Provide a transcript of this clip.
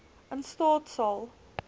in staat sal